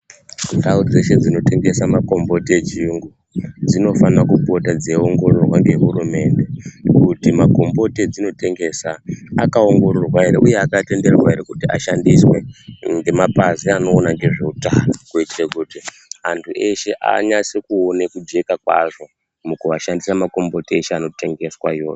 Ndau dzeshe dzino tengesa makomboti e chiyungu dzinofanira kupota dzei ongororwa nge hurumende kuti makomboti adzino tengesa akaongororwa ere uye aka tenderwa ere kuti ashandiswa ne mapazi anoona ne zveutano kuitire kuti antu eshe anyase kuona kujeka kwazvo mukuva shandisa makomboti eshe ano tengeswa iwawo.